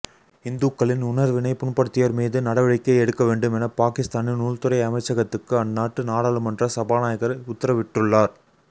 இந்துக்களின் உணர்வினை புண்படுத்தியோர் மீது நடவடிக்கை எடுக்க வேண்டும் என பாகிஸ்தானின் உள்துறை அமைச்சகத்துக்கு அந்நாட்டு நாடாளுமன்ற சபாநாயகர் உத்தரவிட்டுள்ளார்